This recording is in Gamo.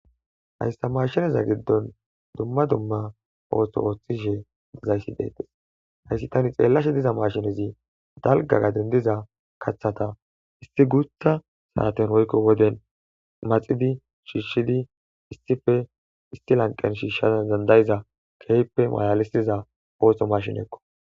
hayssa mashineza giddon dumma dumma oothso ooththishe dezayssi deetes hayssi tani xeellashe diza mashinezi dalgagaden diza kaththata isti guutha saaten woykko woden maxidi shiishshidi istife isti lanqen shiishshana dandayiza keype malalisiza oohso mashin ekqo